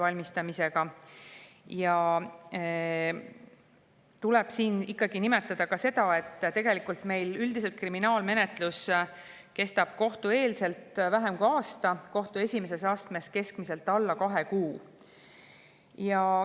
Siin tuleb ikkagi nimetada ka seda, et üldiselt kestab meil kohtueelne kriminaalmenetlus vähem kui aasta, kohtu esimeses astmes keskmiselt alla kahe kuu.